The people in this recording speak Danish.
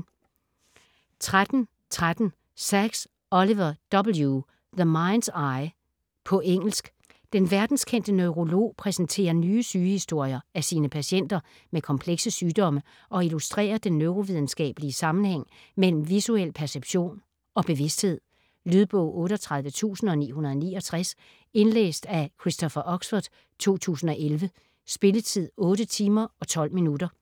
13.13 Sacks, Oliver W.: The mind's eye På engelsk. Den verdenskendte neurolog præsenterer nye sygehistorier af sine patienter med komplekse sygdomme og illustrerer den neurovidenskabelige sammenhæng mellem visuel perception og bevidsthed. Lydbog 38969 Indlæst af Christopher Oxford, 2011. Spilletid: 8 timer, 12 minutter.